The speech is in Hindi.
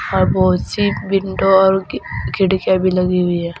और बहुत सी विंडो और खिड़कियाँ भी लगी हुई हैं।